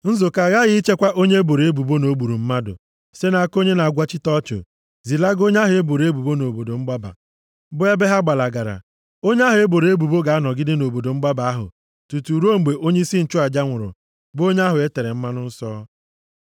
Nzukọ aghaghị ichekwa onye e boro ebubo na o gburu mmadụ site nʼaka onye na-agwachite ọchụ, zilaga onye ahụ e boro ebubo nʼobodo mgbaba, bụ ebe ha gbalagara. Onye ahụ e boro ebubo ga-anọgide nʼobodo mgbaba ahụ tutu ruo mgbe onyeisi nchụaja nwụrụ, bụ onye ahụ e tere mmanụ nsọ.